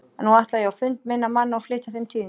En nú ætla ég á fund minna manna og flytja þeim tíðindin.